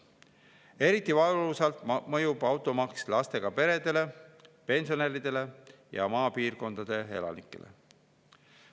Eriti valusalt mõjub automaks lastega peredele, pensionäridele ja maapiirkondade elanikele.